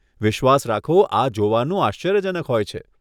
વિશ્વાસ રાખો, આ જોવાનું આશ્ચર્યજનક હોય છે.